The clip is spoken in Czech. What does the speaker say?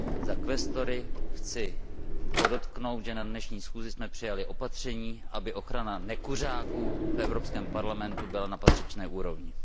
Za kvestory chci podotknout, že na dnešní schůzi jsme přijali opatření, aby ochrana nekuřáků v Evropském parlamentu byla na patřičné úrovni.